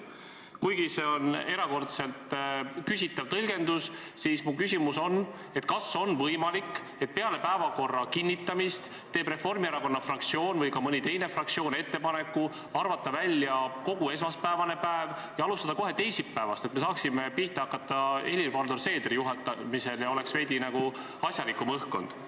Kuigi see on erakordselt küsitav tõlgendus, on mu küsimus järgmine: kas on võimalik, et peale päevakorra kinnitamist teeb Reformierakonna fraktsioon või mõni teine fraktsioon ettepaneku arvata välja kogu esmaspäevane päev ja alustada kohe teisipäevast, et saaksime pihta hakata Helir-Valdor Seedri juhatamisel ja õhkkond oleks veidi asjalikum?